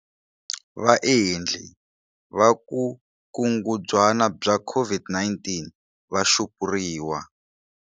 Vaendli vukungundzwana bya COVID-19 va xupuriwa.